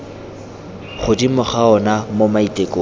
godimo ga ona mo maitekong